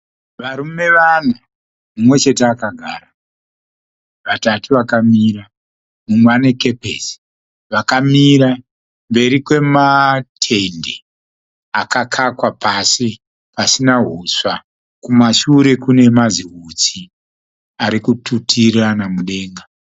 Varume vana. Mumwe chete akagara vatatu vakamira mumwe anekepisi. Vakamira mberi kwematende akakakwa pasi pasina huswa. Kumasure kune mazihutsi ari kututirana mudenga.